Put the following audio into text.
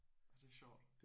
Nåh det er sjovt